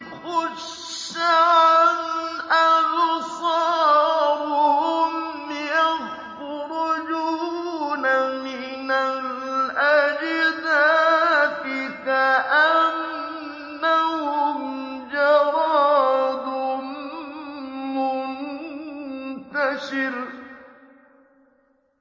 خُشَّعًا أَبْصَارُهُمْ يَخْرُجُونَ مِنَ الْأَجْدَاثِ كَأَنَّهُمْ جَرَادٌ مُّنتَشِرٌ